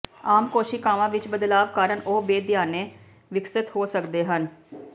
ਆਮ ਕੋਸ਼ੀਕਾਵਾਂ ਵਿੱਚ ਬਦਲਾਵ ਕਾਰਨ ਉਹ ਬੇਧਿਆਨੇ ਵਿਕਸਤ ਹੋ ਸਕਦੇ ਹਨ